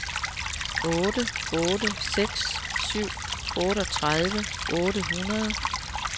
otte otte seks syv otteogtredive otte hundrede